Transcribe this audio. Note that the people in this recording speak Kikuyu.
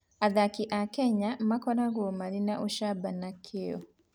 Athaki a Kenya makoragwo marĩ na ũcamba na kĩyo.